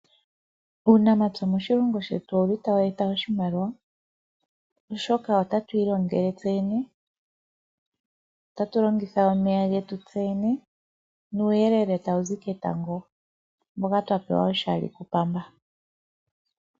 Uunamapya moshilongo shetu owuli taught eta oshimaliwa oshoka otatu ilongele tseyene, otatu longitha getu tseyene nuuyelele tawuzi ketango mboka twapewa oshali ku pamba